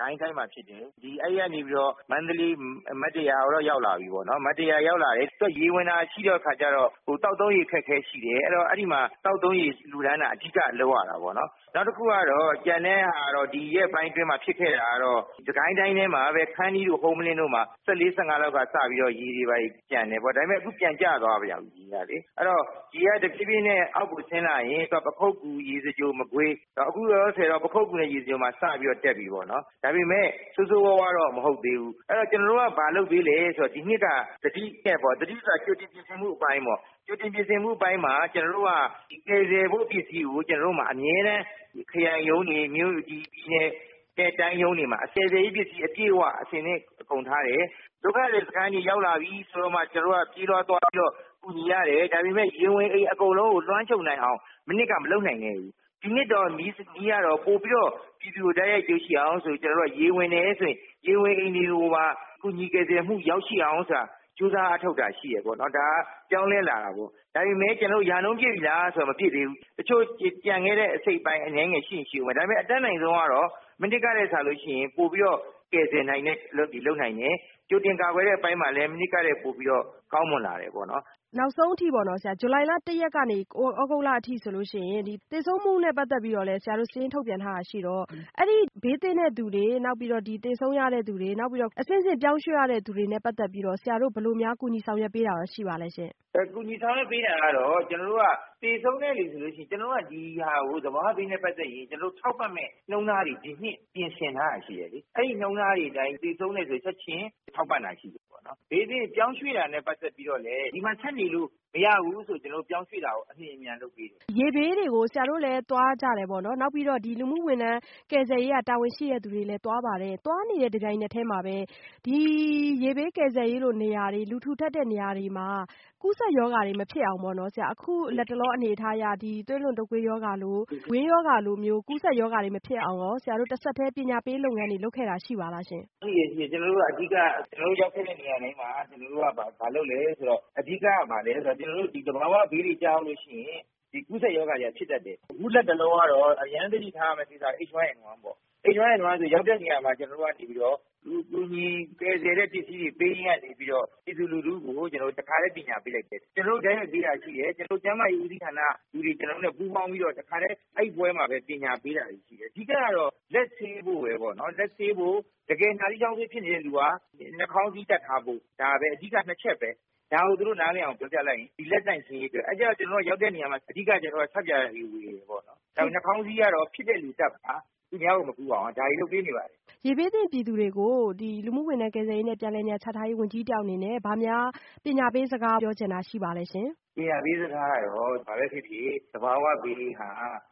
ကိုင်းတိုင်းမှာဖြစ်တယ်။ အဲဒီကနေပြီးတော့ မန္တလေး မတ္တရာကိုရောက်လာပြီပေါ့နော်။ မတ္တရာကိုရောက်လာတဲ့အခါကျတော့ သူက ရေဝင်တာတွေရှိတော့ သောက်သုံးရေအခက်အခဲရှိတယ်။ ဆိုတော့ အဲဒီမှာ သောက်သုံးရေလှူတာအဓိကလုပ်ရတာပေါ့နော်။ နောက်တခုကတော့ ကျန်တဲ့ဟာကတော့ ဒီရက်ပိုင်းအတွင်းမှာဖြစ်ခဲ့တာကတော့ စစ်ကိုင်းတိုင်းအတွင်းထဲမှာပဲ ခန္တီးတို့ ဟုမ္မလင်းတို့မှာ ၁၄-၁၅ လောက်ကစပြီးတော့ ရေတွေဘာတွေကျန်တယ်ပေါ့။ ဒါပေမယ့် အခုပြန်ကျသွားပြီ ရေကလေ။ အဲဒီတော့ ရေကတဖြေးဖြေးနဲ့ အောက်ကိုဆင်းလာရင် ပခုက္ကူ၊ ရေစကြို မကွေး ပေါ့နော် ပခုက္ကူ ၊ ရေစကြိုကတော့ စပြီးတော့ တက်ပြီပေါ့နော်။ ဒါပေမယ့် ဆိုးဆိုးဝါးဝါးတော့ မဟုတ်သေးဘူး။ ကျနော်တို့က ဘာလုပ်သလဲဆိုတော့ ကျနော်တို့က သတိနဲ့ပေါ့နော် ကြိုတင်ပြင်ဆင်မှုအပိုင်းမှာ ကျနော်တို့က ကယ်ဆယ်ဖို့ပစ္စည်းကို အမြဲတမ်း ခရိုင်ရုံးတွေမှာ ၊ ပြည်နယ်တိုင်းရုံးတွေမှာ ကယ်ဆယ်ရေးပစ္စည်းအပြည့်အဝထည့်ထားတယ်။ ဒုက္ခသည်စခန်းတွေရောက်လာပြီဆိုမှ သွားကူညီရတယ် ဒါပေမယ့် ရေဝင်အိမ်အကုန်လုံးကို လွမ်းခြုံနိုင်အောင် မနှစ်က မလုပ်နိုင်ခဲ့ဘူး။ ဒီနှစ်ကတော့ ပိုပြီးတော့ တိုက်ရိုက်ကူညီနိုင်အောင်ဆိုပြီးတော့ ကျနော်တို့က ရေဝင်တယ်ဆိုရင် ၊ ရေဝင်အိမ်တွေကို ကူညီကယ်ဆယ်မှုတွေရအောင်ဆိုပြီးတော့ ကြိုးစားအားထုတ်တာရှိတယ်ပေါ့နော်။ ဒါကပြောင်းလဲလာတာပေါ့ ဒါပေမယ့် ကျနော်တို့ ရာနှှုန်းပြည့်လားဆိုတော့ မပြည့်ဘူး တချို့ကျန်ခဲ့တဲ့ အစိတ်အပိုင်းအနည်းငယ်ရှိရင်ရှိဦးမယ်။အတတ်နိုင်ဆုံးကတော့ မနှစ်ကထက်စာရင် ပိုပြီးတော့ ကယ်ဆယ်နိုင်တဲ့အလုပ်တွေလုပ်နိုင်တယ်။ ကြိုတင်ကာကွယ်တဲ့အပိုင်းမှာလည်း မနှစ်ကထက်စာရင် ပိုပြီးတော့ကောင်းမွန်လာတယ်ပေါ့နော်။ နောက်ဆုံးအထိပေါ့နော် ဇူလိုင်လ ၁ ရက်ကနေ သြဂုတ်လအထိဆိုရင် ဒီသေဆုံးမှုနဲ့ ပတ်သက်ပြီးတော့ ဆရာတို့ စာရင်းထုတ်ပြန်ထားတာရှိတော့ အဲဒီဘေးသင့်တဲ့သူတွေ နောက်ပြီးတော့ သေဆုံးသူတွေ ၊ အဆင့်ဆင့်ပြောင်းရွှေ့ရတဲ့သူတွေနဲ့ ပတ်သက်ပြီးတော့ ဆရာတို့ဘယ်လိုမျိုး ဆောင်ရွက်ပေးတာ ရှိပါသလဲရှင့်။ ကူညီထားပေးတာကတော့ ကျနော်တို့က သေဆုံးသူဆိုရင် ကျနော်တို့က သဘာဝဘေးနဲ့ ပတ်သက်ရင်ထောက်ပံ့မည့်နှုန်းထားတွေ ပြင်ဆင်ထားတာရှိတယ်။ အဲဒီနှုန်းထားတွေအတိုင်းသေဆုံးတဲ့သူတွေကို ချက်ချင်းထောက်ပံ့တာရှိတယ်။ ဘေးသင့်ပြောင်းရွှေ့တာနဲ့ ပတ်သက်ပြီးတော့ ဒီမှာဆက်နေလို့မရဘူးဆိုရင် ကျနော်တို့ ပြောင်းရွှေ့တာကို အလျှင်အမြန်လုပ်ပေးတယ်။ ရေဘေးတွေကို ဆရာတို့လည်းသွားကြတယ်ပေါ့နော်။ နောက်ပြီးတော့ လူမှုဝန်ထမ်းကယ်ဆယ်ရေးက တာဝန်ရှိတဲ့လူတွေလည်းသွားပါတယ်။ သွားနေတဲ့ တပြိုင်နက်ထဲမှာပဲ။ ဒီရေဘေးကယ်ဆယ်ရေးလိုနေရာတွေမှာ လူထူထပ်တဲ့နေရာတွေမှာ ကူးစက်ရောဂါတွေမဖြစ်အောင် အခုလက်တလောအနေအထားအရ သွေးလွန်တုပ်ကွေးရောဂါလို ၊ ဝမ်းရောဂါလို ကူးစက်ရောဂါတွေမဖြစ်အောင်ရော ဆရာတို့ တဆက်တည်းပညာပေးလုပ်ငန်းတွေ လုပ်ခဲ့တာတို့ ရှိပါသလားရှင့်။ ကျနော်တို့က အဓိက ကျနော်တို့ ရောက်ခဲ့တဲ့နေရာတိုင်းမှာ ဘာလုပ်သလဲဆိုရင် အဓိကဘာလဲဆိုတော့ ကျနော်တို့ သဘာဝဘေးတွေကျရောက်လို့ရှိရင် ကူးစက်ရောဂါတွေကဖြစ်တတ်တယ်။ အခုလက်တလောကတော့ အရမ်းသတိထားရမှာက H1N1 ပေါ့နော်။ H1N1ကရောက်တဲ့နေရာမှာ ကျနော်တို့ကနေပြီးတော့ ကူညီကယ်ဆယ်တဲ့ပစ္စည်းတွေပေး တာကနေပြီးတော့ တခါတည်းပညာပေးလိုက်တယ်။ ကျနော်တို့ တိုက်ရိုက်ပေးတာတွေရှိတယ်၊ ကျန်းမာရေးဦးစီးဌာနက ကျနော်တို့နဲ့ ပူးပေါင်းပြီးတော့ တခါတည်းအဲဒီပွဲမှာပဲ ပညာပေးတာတွေ ရှိတယ်။ အဓိကတော့ လက်ဆေးဖို့ပဲပေါ့နော် လက်ဆေးဖို့ တကယ်နှာစေးချောင်းဆိုးဖြစ်နေတဲ့လူက နှာခေါင်းစည်းတပ်ထားဖို့ ဒါပဲ အဓိက ၂ ချက်ပဲ။ ဒါကို သူတို့နားလည်အောင်ပြောပြလိုက်ရင် လက်ဆေးဖို့ပဲ၊ အဲဒါကြောင့် ကျနော်တို့ရောက်တဲ့နေရာမှာ အဓိက ဆပ်ပြာတွေဝယ်တယ်ပေါ့နော်။ နှာခေါင်းစည်းကတော့ ဖြစ်တဲ့လူတပ်ပါ သူများကိုမကူးအောင် ဒါတွေ လုပ်ပေးနေပါတယ်။ ရေဘေးသင့်ပြည်သူတွေကို လူမှုဝန်ထမ်းကယ်ဆယ်ရေးနဲ့ပြန်လည်နေရာချထားရေးဝန်ကြီး တယောက်အနေနဲ့ ပညာပေးစကားများပြောချင်ပါသလဲ။ ပညာပေးစကားကတော့ ဘာပဲဖြစ်ဖြစ် သဘာဝဘေးက